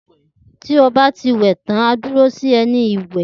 Ti o ba ti wè tán, a duro sóri èni iwè